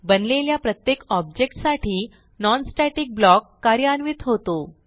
बनलेल्या प्रत्येक ऑब्जेक्ट साठी non स्टॅटिक ब्लॉक कार्यान्वित होतो